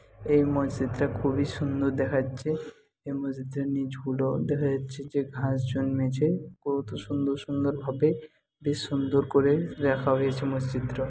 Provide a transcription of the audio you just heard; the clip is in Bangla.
এই মসজিদটা খুবই সুন্দর দেখাচ্ছে এই মসজিদটার নিচগুলো দেখা যাচ্ছে যে ঘাস জন্মেছে। কত সুন্দর সুন্দর ভাবে বেশ সুন্দর করে রাখা হয়েছে মসজিদটা।